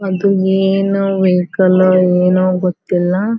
ಅದು ಏನೋ ವೆಹಿಕಲ್ ಏನು ಗೊತ್ತಿಲ್ಲ.